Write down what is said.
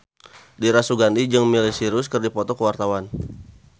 Dira Sugandi jeung Miley Cyrus keur dipoto ku wartawan